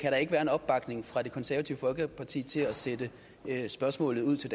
være en opbakning fra det konservative folkeparti til at sende spørgsmålet ud til